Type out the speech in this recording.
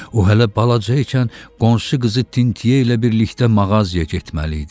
O, hələ balaca ikən qonşu qızı Tintiyeylə birlikdə mağazaya getməli idi.